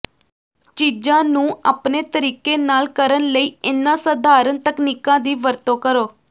ਚੀਜ਼ਾਂ ਨੂੰ ਆਪਣੇ ਤਰੀਕੇ ਨਾਲ ਕਰਨ ਲਈ ਇਹਨਾਂ ਸਾਧਾਰਣ ਤਕਨੀਕਾਂ ਦੀ ਵਰਤੋਂ ਕਰੋ